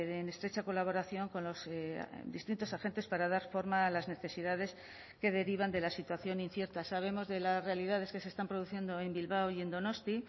en estrecha colaboración con los distintos agentes para dar forma a las necesidades que derivan de la situación incierta sabemos de las realidades que se están produciendo en bilbao y en donosti